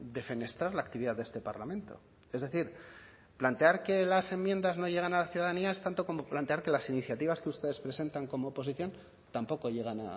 defenestrar la actividad de este parlamento es decir plantear que las enmiendas no llegan a la ciudadanía es tanto como plantear que las iniciativas que ustedes presentan como oposición tampoco llegan